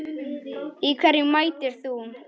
Í hverju mætir þú?